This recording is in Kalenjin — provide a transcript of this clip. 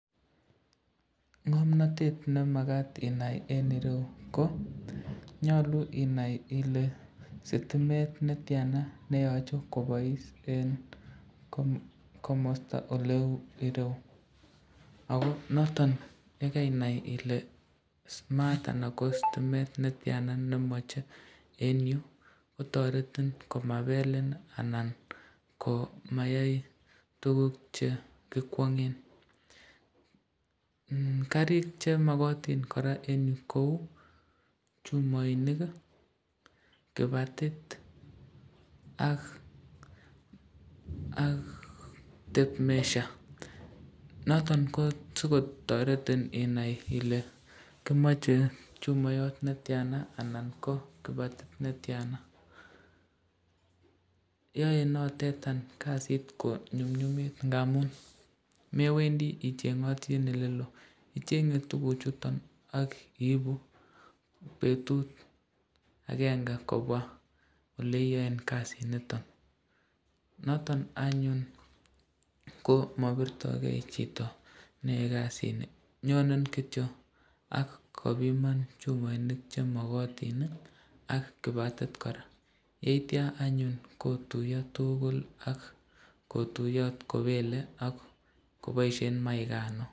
Ngomnatet nemakat inai eng ireu ko, nyalu inai Ile sitimet netyana neyoche kobois eng komasta neu ireu, ako noton yekainai Ile maat anan ko sitimet netyana nemache eng yu, kotoretin komabelin anan ko mayai tukuk che kikwangen, karik chemakatin koraa eng yu kou chumainik kibatit ak tape measure, noton ko sikotoreten inai Ile kimache chumayot netyana anan ko kibatit netyana, yae notetan kasit konyumnyumit ngamun mewendi ichengati eng elelo , ichenge tukuk chuton akiibu betut akenge kobwa oleiaen kasit niton , noton anyun komabirtoken chito neyae kasit ni, anyone kityo ako biman chumainik chemakatin, ak kibatit koraa, yeitya anyun kotuya tukul ak koboisyen maikan .